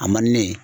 A man di ne ye